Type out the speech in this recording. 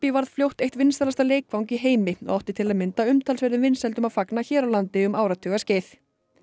varð fljótt eitt vinsælasta leikfang í heimi og átti til að mynda umtalsverðum vinsældum að fagna hér á landi um áratuga skeið